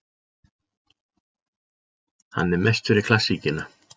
Hann er mest fyrir klassíkina.